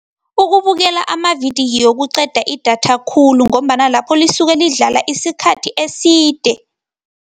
Ukubukela amavidiyo kuqeda idatha khulu ngombana lapho lisuke lidlala isikhathi eside.